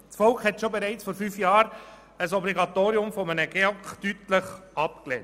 Das Volk hat bereits vor fünf Jahren ein Obligatorium des GEAK deutlich abgelehnt.